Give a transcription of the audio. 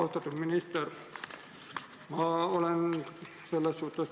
Austatud minister!